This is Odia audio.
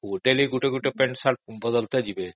daily ଗୋଟେ ପାଣ୍ଟସାର୍ଟ ବଦଳିକି ଯିବେ